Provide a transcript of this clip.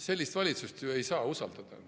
Sellist valitsust ei saa ju usaldada.